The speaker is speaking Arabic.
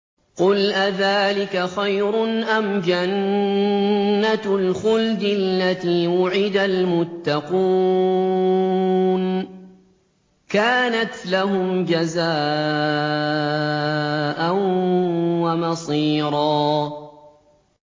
قُلْ أَذَٰلِكَ خَيْرٌ أَمْ جَنَّةُ الْخُلْدِ الَّتِي وُعِدَ الْمُتَّقُونَ ۚ كَانَتْ لَهُمْ جَزَاءً وَمَصِيرًا